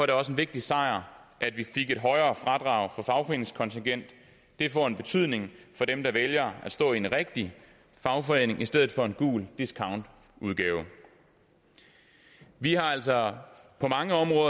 det også en vigtig sejr at vi fik et højere fradrag for fagforeningskontingent det får en betydning for dem der vælger at stå i en rigtig fagforening i stedet for i en gul discountudgave vi har altså på mange områder